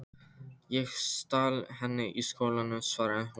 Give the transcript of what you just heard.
Ég stal henni í skólanum, svaraði hún.